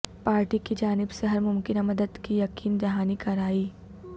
party کی جانب سے ہر ممکنہ مدد کی یقین دہانی کرائی